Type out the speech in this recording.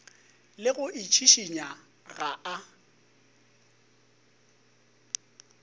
le go itšhišinya ga a